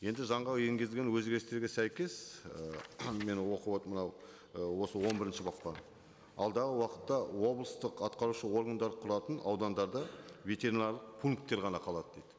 енді заңға енгізген өзгерістерге сәйкес ы мен оқып отырып мынау осы он бірінші бапта алдағы уақытта облыстық атқарушы органдар құратын аудандарда ветеринарлық пункттер ғана қалады дейді